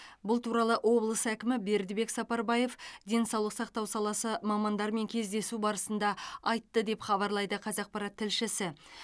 бұл туралы облыс әкімі бердібек сапарбаев денсаулық сақтау саласы мамандарымен кездесу барысында айтты деп хабарлайды қазақпарат тілшісі